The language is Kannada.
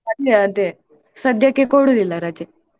ಅದೇ ಅದೇ ಸದ್ಯಕ್ಕೆ ಕೊಡುದಿಲ್ಲ ರಜೆ.